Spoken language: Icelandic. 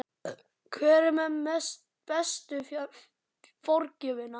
Hver er með bestu forgjöfina?